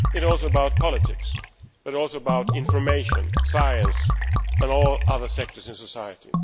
it is also about politics and about information, science and all other sectors in society.